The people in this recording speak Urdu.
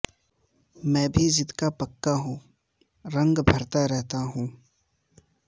میں بھی ضد کا پکا ہوں رنگ بھرتا رہتا ہوں